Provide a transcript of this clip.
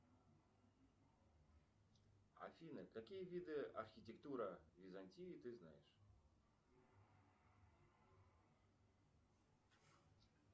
афина какие виды архитектуры византии ты знаешь